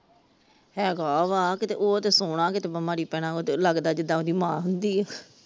ਹੈਗਾ ਵਾ ਕੀਤੇ ਉਹ ਤੇ ਸੋਹਣਾ ਕੀਤੇ ਬਿਮਾਰੀ ਪੈਣਾ ਉਹ ਤੇ ਲੱਗਦੀ ਜਿੱਦਾ ਉਹਦੀ ਮਾਂ ਹੁੰਦੀ ਆ ।